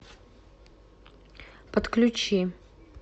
подключи